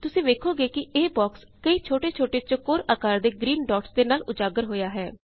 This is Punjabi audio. ਤੁਸੀ ਵੇਖੋਗੇ ਕੀ ਇਹ ਬੌਕਸ ਕਈ ਛੋਟੇ ਛੋਟੇ ਚੌਕੌਰ ਆਕਾਰ ਦੇ ਗ੍ਰੀਨ ਡੌਟਸ ਦੇ ਨਾਲ ਉਜਾਗਰ ਹੋਇਆ ਹੈ